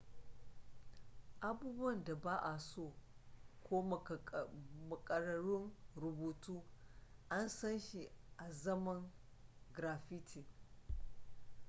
abubuwan da ba'a so ko makararrun rubutu an san shi azaman graffiti